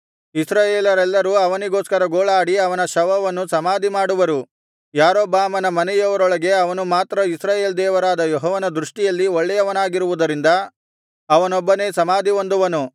ಇಸ್ರಾಯೇಲರೆಲ್ಲರೂ ಅವನಿಗೋಸ್ಕರ ಗೋಳಾಡಿ ಅವನ ಶವವನ್ನು ಸಮಾಧಿಮಾಡುವರು ಯಾರೊಬ್ಬಾಮನ ಮನೆಯವರೊಳಗೆ ಅವನು ಮಾತ್ರ ಇಸ್ರಾಯೇಲ್ ದೇವರಾದ ಯೆಹೋವನ ದೃಷ್ಟಿಯಲ್ಲಿ ಒಳ್ಳೆಯವನಾಗಿರುವುದರಿಂದ ಅವನೊಬ್ಬನೇ ಸಮಾಧಿಹೊಂದುವನು